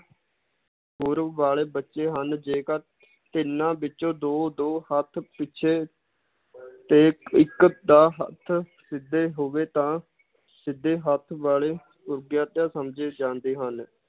ਵਾਲੇ ਬੱਚੇ ਹਨ ਜੇਕਰ ਇਹਨਾਂ ਵਿਚੋਂ ਦੋ ਦੋ ਹੱਥ ਪਿਛੇ ਤੇ ਇੱਕ ਦਾ ਹੱਥ ਸਿਧੇ ਹੋਵੇ ਤਾਂ ਸਿਧੇ ਹੱਥ ਵਾਲੇ ਸਮਝੇ ਜਾਂਦੇ ਹਨ